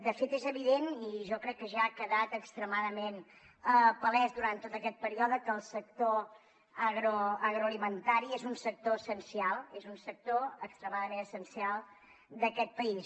de fet és evident i jo crec que ja ha quedat extremadament palès durant tot aquest període que el sector agroalimentari és un sector essencial és un sector extremadament essencial d’aquest país